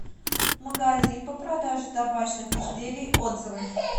магазин по продаже табачных изделий отзывы